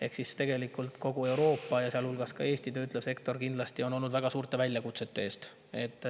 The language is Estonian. Ehk siis tegelikult kogu Euroopa, sealhulgas Eesti töötlev sektor, on kindlasti olnud väga suurte väljakutsete ees.